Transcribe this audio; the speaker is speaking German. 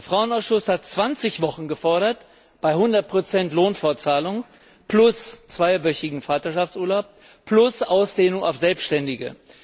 Der Frauenausschuss hat 20 Wochen gefordert bei 100 Lohnfortzahlung plus zweiwöchigem Vaterschaftsurlaub plus Ausdehnung auf Selbstständige.